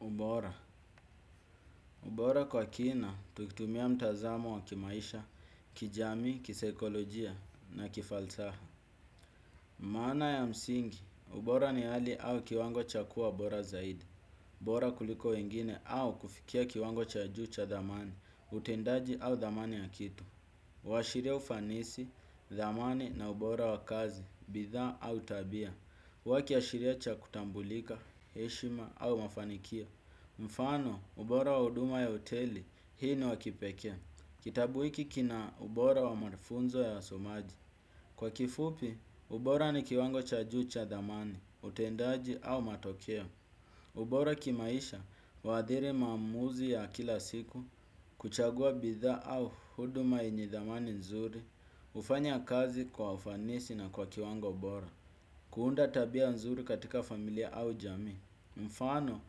Ubora. Ubora kwa kina, tukitumia mtazamo wa kimaisha, kijamii, kisaikolojia na kifalsaha. Maana ya msingi, ubora ni hali au kiwango cha kuwa bora zaidi. Bora kuliko wengine au kufikia kiwango cha juu cha dhamani, utendaji au dhamani ya kitu. Huashiria ufanisi, dhamani na ubora wa kazi, bidhaa au tabia. Huwa kiashiria cha kutambulika, heshima au mafanikio. Mfano ubora wa huduma ya hoteli hii ni wa kipekee. Kitabu hiki kina ubora wa mafunzo ya wasomaji. Kwa kifupi ubora ni kiwango cha juu cha dhamani, utendaji au matokeo. Ubora kimaisha huadhiri maamuzi ya kila siku. Kuchagua bidhaa au huduma yenye dhamani nzuri hufanya kazi kwa ufanisi na kwa kiwango ubora. Kuunda tabia nzuri katika familia au jamii. Mfano,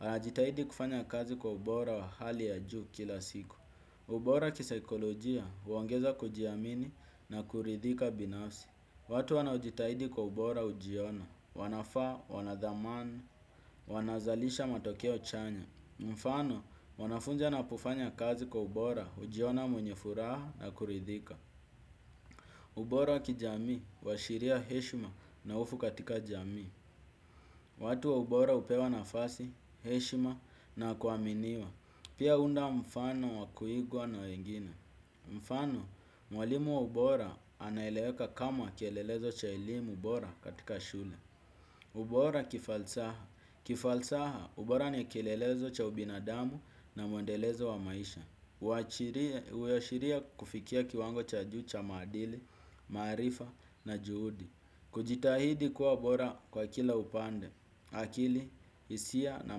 anajitahidi kufanya kazi kwa ubora wa hali ya juu kila siku. Ubora kisaikolojia, huongeza kujiamini na kuridhika binafsi. Watu wanaojitahidi kwa ubora hujiona, wanafaa, wana dhamana, wanazalisha matokeo chanya. Mfano, wanafunja na kufanya kazi kwa ubora hujiona mwenye furaha na kuridhika. Ubora kijamii, huashiria heshima na hofu katika jami. Watu wa ubora hupewa nafasi, heshima na kuaminiwa. Pia unda mfano wa kuigwa na wengine. Mfano, mwalimu wa ubora anaeleweka kama kielelezo cha elimu bora katika shule. Ubora kifalsaha. Kifalsaha ubora ni kielelezo cha ubinadamu na mwendelezo wa maisha. Huashiria kufikia kiwango cha juu cha maadili, maarifa na juhudi. Kujitahidi kuwa bora kwa kila upande, akili, hisia na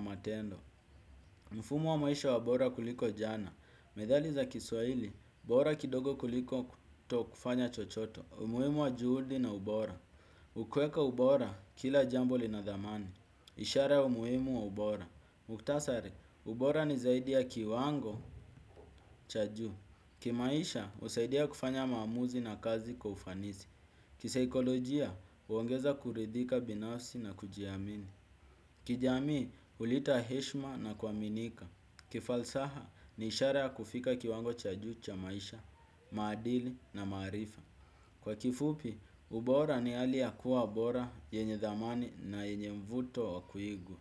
matendo. Mfumo wa maisha wa bora kuliko jana. Methali za kiswaili, bora kidogo kuliko kutokufanya chochote umuhimu wa juhudi na ubora ukiweka ubora kila jambo lina dhamani. Ishara ya umuhimu wa ubora. Mukhtasari, ubora ni zaidi ya kiwango cha juu. Kimaisha, husaidia kufanya maamuzi na kazi kwa ufanisi. Kisaikolojia huongeza kuridhika binafsi na kujiamini. Kijamii huleta heshima na kuaminika. Kifalsaha ni ishara kufika kiwango cha juu cha maisha, maadili na maarifa. Kwa kifupi, ubora ni hali ya kuwa bora, yenye dhamani na yenye mvuto wa kuigwa.